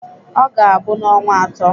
Ọ ga-abụ n'ọnwa atọ.